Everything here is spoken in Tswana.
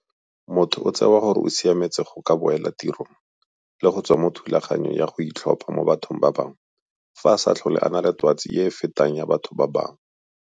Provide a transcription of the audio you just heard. Motho o tsewa gore o siametse go ka boela tirong le go tswa mo thulaganyong ya go itlhopha mo bathong ba bangwe fa a sa tlhole a na le twatsi e e fetelang batho ba bangwe.